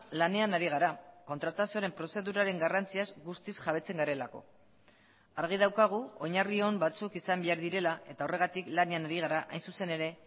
lanean ari gara kontratazioaren prozeduraren garrantziaz guztiz jabetzen garelako argi daukagu oinarri on batzuk izan behar direla eta horregatik lanean ari gara hain zuzen ere